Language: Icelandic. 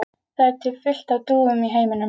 Það er til fullt af dúfum í heiminum.